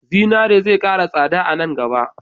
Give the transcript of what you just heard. Zinare zai ƙara tsada a nan gaba.